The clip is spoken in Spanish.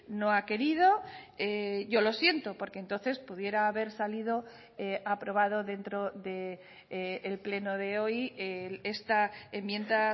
no ha querido yo lo siento porque entonces pudiera haber salido aprobado dentro del pleno de hoy esta enmienda